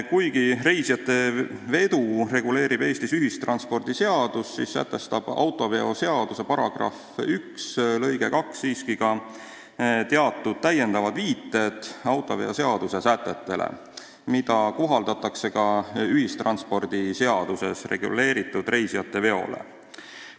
Kuigi reisijatevedu reguleerib Eestis ühistranspordiseadus, sätestab autoveoseaduse § 1 lõige 2 siiski teatud täiendavad viited autoveoseaduse sätetele, mida kohaldatakse ka ühistranspordiseaduses reguleeritud reisijateveole.